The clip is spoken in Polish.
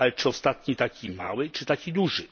Ale czy ostatni taki mały, czy taki duży?